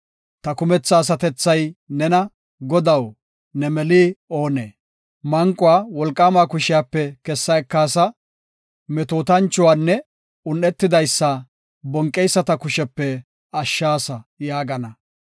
Ta kumetha asatethay nena, “Godaw, ne meli oonee? Manquwa wolqaamaa kushiyape kessa ekaasa; metootanchuwanne un7etidaysa, bonqeyisata kushepe ashshaasa” yaagana.